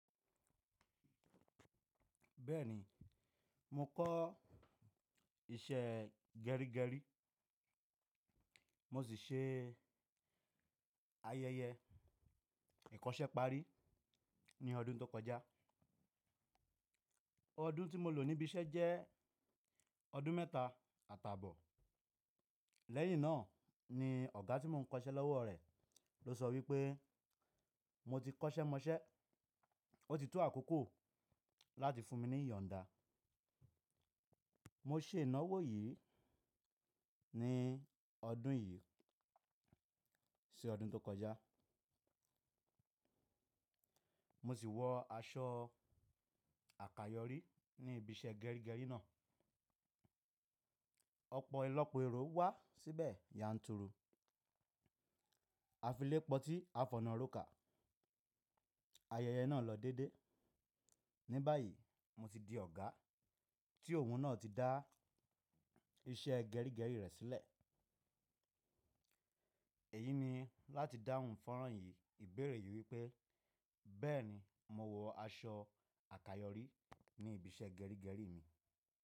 Bẹ́ẹ̀ni, mo kọ́ iṣẹ́ gẹrígẹrí mo sì se ayẹyẹ ìkọ́ṣẹ́párí ní ọdún tó kọjá. Ọdún tí mo lò níbi iṣẹ́ jẹ́ ọdún mẹ́ta àtàbọ̀. Lẹ́yìn náà ni ọ̀gá tí mo ń kọ iṣẹ́ lọ́wọ́ rẹ̀ ló sọ wípé mo ti kọ́ṣẹ́ mọṣẹ́ ó ti to àkókò láti fún mi ní ìyòǹda. Mo se ìnáwó yìí ní ọdún yìí sí ọdún tó kọjá. Mo sì wọ aṣọ àkayọ̀rí ní ibi iṣẹ́ gẹrígẹrí náà. Ọ̀pọ̀ ìlọ́pọ̀ èrò wá síbẹ̀ yanturu. A fi lépo tí a fọnna rókà. Ayẹyẹ náà lọ dédé. Ní báyìí, mo ti di ọ̀gá tí òun náà ti dá iṣẹ́ gẹrígẹrí rẹ̀ sílẹ̀. Èyí ni láti dáhùn fọ́nrán yìí ìbéèrè yìí wípé, “Bẹ́ẹ̀ni, mo wọ aṣọ àkayọ̀rí ní ibi iṣẹ́ gẹrígẹrí mi.”